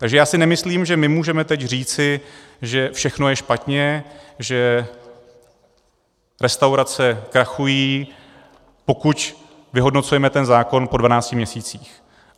Takže já si nemyslím, že my můžeme teď říct, že všechno je špatně, že restaurace krachují, pokud vyhodnocujeme ten zákon po 12 měsících.